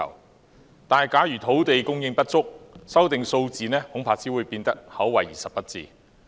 然而，假如土地供應不足，調整數字恐怕只會是口惠而實不至。